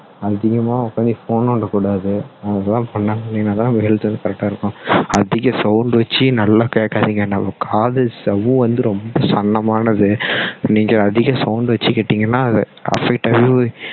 அதிகமா உட்கார்ந்து phone நோண்ட கூடாது அதெல்லாம் பண்ணாம இருந்தீங்கன்னா தான் health வந்து correct டா இருக்கும் அதிக sound வச்சு நல்லா கேட்காதீங்க நம்ம காது சவ்வு வந்து ரொம்ப சல்லமானது நீங்க அதிக sound வச்சி கேட்டீங்கன்னா அது affect ஆகி